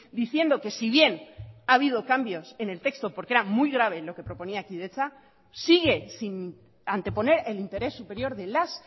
diciendo que si bien ha habido cambios en el texto porque era muy grave lo que proponía kidetza sigue sin anteponer el interés superior de las